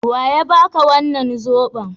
Wa ya ba ka wannan zoben?